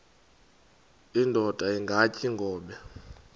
indod ingaty iinkobe